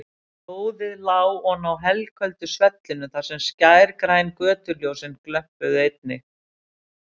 Blóðið lá oná helköldu svellinu þar sem skærgræn götuljósin glömpuðu einnig.